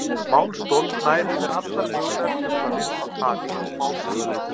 Málstol nær yfir allar mögulegar truflanir á tali og málskynjun.